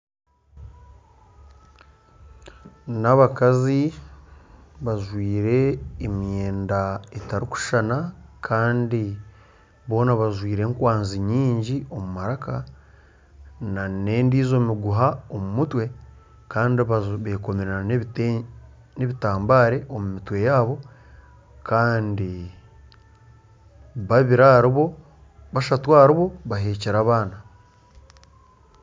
N'abakazi bajwire emyenda etarikushushana kandi boona bajwire enkwazi nyingi omu maraka, nana endiijo miguha omu mutwe kandi beekomire nana n'ebitambare omu mitwe yaabo kandi bashatu ahari bo bahekire abaana